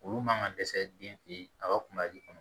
Olu man ka dɛsɛ den fitinin a ka kunba ji kɔnɔ